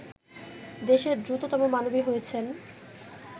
দেশের দ্রুততম মানবী হয়েছেন